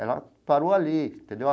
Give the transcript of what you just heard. Ela parou ali, entendeu?